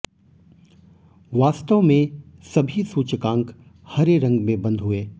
वास्तव में सभी सूचकांक हरे रंग में बंद हुए